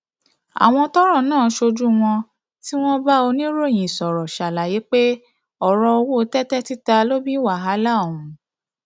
àwọn tọrọ náà ṣojú wọn tí wọn bá oníròyìn sọrọ ṣàlàyé pé ọrọ owó tẹtẹ títa ló bí wàhálà ọhún